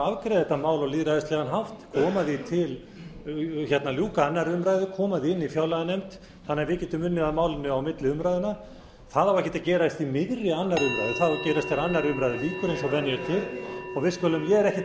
afgreiða þetta mál á lýðræðislegan hátt ljúka annarrar umræðu koma því í fjárlaganefnd þannig að við getum unnið að málinu milli umræðna það á ekki að gerast í miðri tvö umræðu það á að gera eftir að annarri umræðu lýkur eins og venja er til og við skulum ég er ekkert að